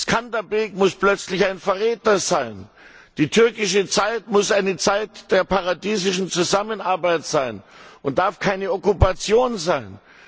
Skanderbeg muss plötzlich ein Verräter sein, die türkische Zeit muss eine Zeit der paradiesischen Zusammenarbeit sein und darf keine Okkupation sein.